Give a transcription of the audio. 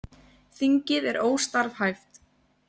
Þingið er óstarfhæft